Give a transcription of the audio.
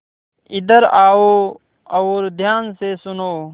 इधर आओ और ध्यान से सुनो